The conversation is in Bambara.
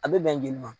A bɛ bɛn joli ma